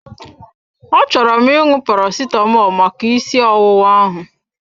Achọrọ m ịṅụ Paracetamọl maka ịsị ọwụwa ahụ.